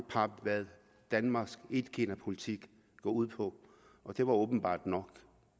pap hvad danmarks etkinapolitik går ud på og det var åbenbart nok